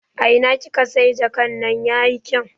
A ina kika siya jakan nan yayi kyau?